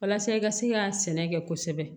Walasa i ka se ka sɛnɛ kɛ kosɛbɛ